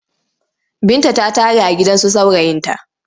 Binta ta tare a gidansu saurayinta.